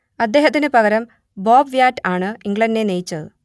അദ്ദേഹത്തിന് പകരം Bob Wyatt ആണ് ഇംഗ്ലണ്ടിനെ നയിച്ചത്